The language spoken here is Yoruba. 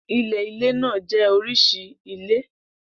Ilé-ilẹ̀ náà jẹ́ oríṣi ilé.